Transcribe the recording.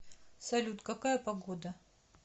салют какая погода